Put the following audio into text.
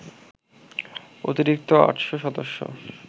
অতিরিক্ত ৮০০ সদস্য